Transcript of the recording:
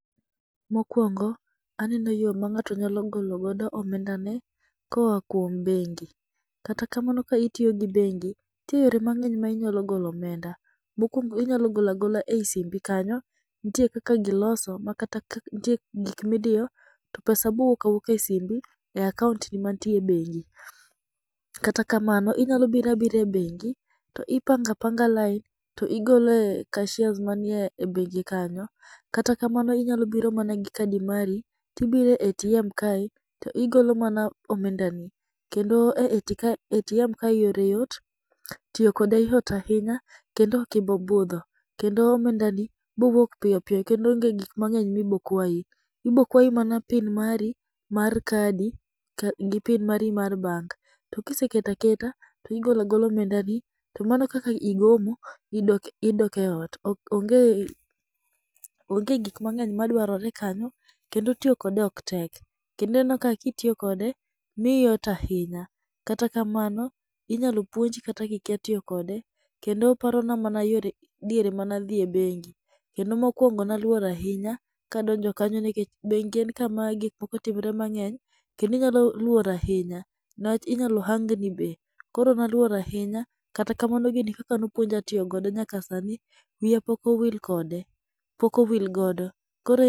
Mokuoongo aneno yo ma ng'ato nyalo golo go omenda ne koa kuom bengi. Kata kamano ka itiyo gi bengi, nitie yore mang'eny ma inyalo golo omenda. Mokwongo inyalo golo agola e yi simbi kanyo. Nitie kaka giloso. Nitie gik midiyo to pesa bowuok awuoka e simbi e akaunt ni mantie bengi. Kata kamano, inyalo biro abira e bengi to ipango apanga lain to igolo e cashiers manie bengi kanyo. Katakamano inyalo biro mana gi kadi mari tibire e ATM kae tigolo mana omenda ni. Kendo e ATM kae yore yot tiyo kode yot ahinya kendo ok ibobudho. Kendo omenda ni bo wuok piyo piyo. Kendo onge gik mang'eny mi bo kwayi. Ibokwayi mana PIN mari mar kadi kod PIN mari mar bank. Tokiseketo aketa tigolo agola omenda ni to mano kaka igomo tidoke ot. Onge gik mang'eny madwarore kanyo kendo tiyo kode ok tek. Kendo ineno ka itiyo kode miyi yot ahinya. Kata kamano inyalo puonji kata ki kia tiyokode. Kendo oparona mana diere mane adhiye bengi kendo mokwongo ne aluor ahinya kadonjo kanyo nikech bengi en kama gik moko timore mang'eny kendo inyalo luor ahinya. Newach inyalo hang ni be. Koro ne aluor ahinya kata kamano gini kaka nopuonja tiyogodo nyaka sani wiya pok owil kode. Pok owil godo. Kore